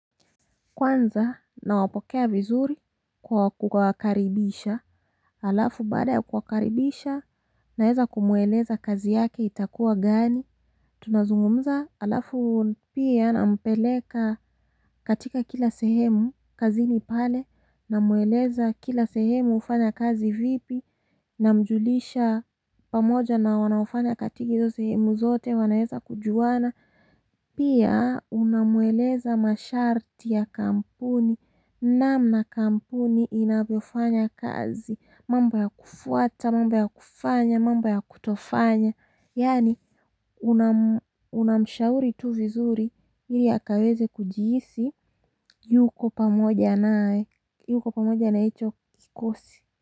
Kwanza na wapokea vizuri kwa kuwakaribisha. Alafu baada ya kuwakaribisha naeza kumweleza kazi yake itakuwa gani. Tunazungumza alafu pia nampeleka katika kila sehemu kazini pale. Namweleza kila sehemu hufanya kazi vipi. Namjulisha pamoja na wanaofanya katika hizo sehemu zote wanaeza kujuana pia unamweleza masharti ya kampuni namna kampuni inavyofanya kazi mambo ya kufuata, mamba ya kufanya, mambo ya kutofanya yaani unamshauri tu vizuri ili akaweze kujihisi yuko pamoja naye yuko pamoja na hicho kikosi.